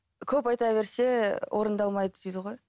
көп айта берсе орындалмайды дейді ғой